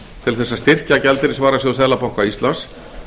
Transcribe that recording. til þess að styrkja gjaldeyrisvarasjóð seðlabanka íslands